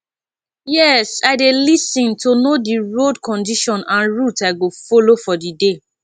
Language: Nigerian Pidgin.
yes i dey lis ten to know di road condition and route i go follow for di day